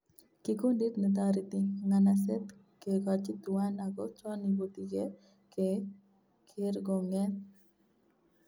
Kikundit netoreti nganaset kegochi tuwan ago chon iputi ke kerkoonget